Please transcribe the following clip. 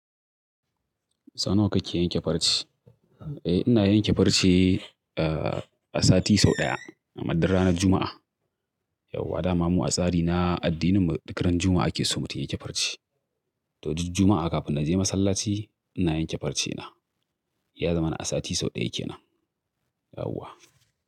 Sau nawa kake yanke farce? Eh ina yanke farce, ah, a sati sau ɗaya amma duk ranar Juma'a. Yauwa, da mu a tsari na addininmu duk ran Juma'a ake so mutum ya yanke farce. To duk Juma'a kafin na je masallaci ina yanke farce na. Ya zama na a sati sau ɗaya ke nan. Yauwa.